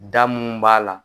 Da mun b'a la.